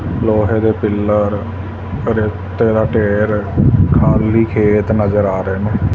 ਲੋਹੇ ਦੇ ਪਿੱਲਰ ਰੇਤੇ ਦਾ ਢੇਰ ਖਾਲੀ ਖੇਤ ਨਜ਼ਰ ਆ ਰਹੇ ਨੇਂ।